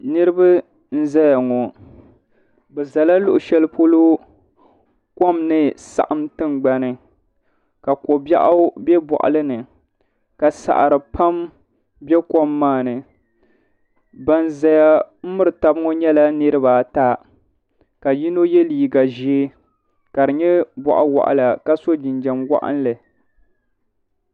Niraba n zeya ŋo. Bɛ zala luɣu sheli polo kom ni saɣim tingbani ka kobiɛɣu be boɣili ni ka saɣiri pam be kom maa ni. Ban zaya n miri tabi ŋɔ nyela niriba ata ka yino ye liiga ʒee ka di nye boɣ' waɣala ka so jinjam waɣinli